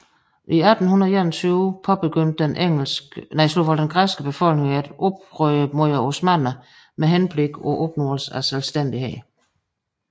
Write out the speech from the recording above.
I 1821 påbegyndte den græske befolkning et oprør mod osmannerne med henblik på opnåelse af selvstændighed